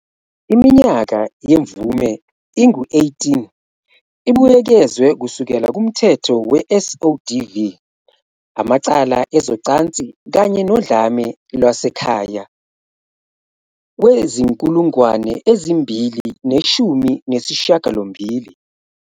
Iminyaka yemvume ingu- 18, ibuyekezwe kusukela kuMthetho we-SODV, amacala ezocansi kanye nodlame lwasekhaya, we-2018.